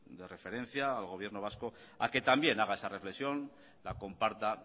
de referencia al gobierno vasco a que también haga esa reflexión la comparta